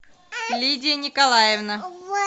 лидия николаевна